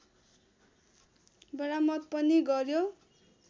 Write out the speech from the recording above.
बरामद पनि गर्यो